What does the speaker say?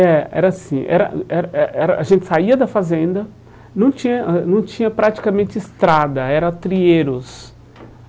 É, era assim era hum era eh eh era, a gente saía da fazenda, não tinha ãh não tinha praticamente estrada, era trieiros.